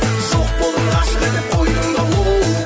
жоқ болдың ғашық етіп қойдың да оу